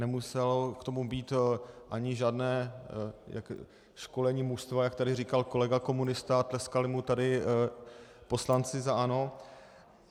Nemuselo k tomu být ani žádné školení mužstva, jak tady říkal kolega komunista, a tleskali mu tady poslanci za ANO.